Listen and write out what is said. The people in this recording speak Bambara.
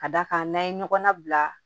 Ka d'a kan n'an ye ɲɔgɔn nabila